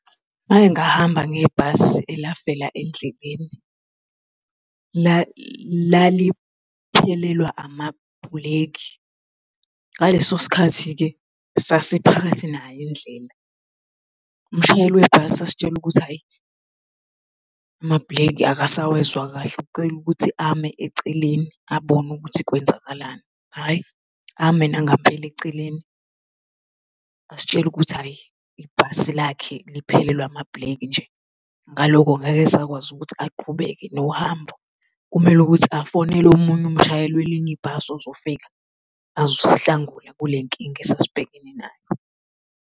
Ngake ngahamba ngebhasi elafela endleleni. Laliphelelwa amabhuleki, ngaleso sikhathi-ke sasiphakathi nayo indlela. Umshayeli webhasi asitshela ukuthi hhayi, amabhuleki akasawezwa kahle ucela ukuthi ame eceleni abone ukuthi kwenzakalani hhayi, ame nangampela eceleni asitshele ukuthi hhayi, ibhasi lakhe liphelelwe amabhuleki nje. Ngaloko ngeke asakwazi ukuthi aqhubeke nohambo, kumele ukuthi afonele omunye umshayeli welinye ibhasi ozofika azosihlangula kule nkinga esasibhekene nayo.